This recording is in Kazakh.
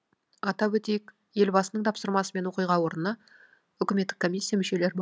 атап өтейік елбасының тапсырмасымен оқиға орнына үкіметтік комиссия мүшелер